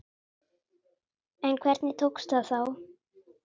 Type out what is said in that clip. En hvernig tókst það þá?